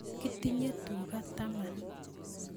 kitinye tuka taman